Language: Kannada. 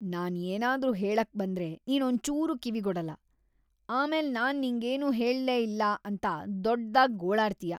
ನಾನ್ ಏನಾದ್ರು ಹೇಳಕ್ ಬಂದ್ರೆ ನೀನ್ ಒಂಚೂರೂ‌ ಕಿವಿಗೊಡಲ್ಲ, ಆಮೇಲ್ ನಾನ್ ನಿಂಗೇನೂ ಹೇಳೇ ಇಲ್ಲ ಅಂತ ದೊಡ್ದಾಗ್ ಗೋಳಾಡ್ತೀಯ.